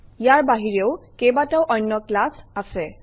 ইয়াৰ বাহিৰেও কেইবাটাও অন্য ক্লাছ আছে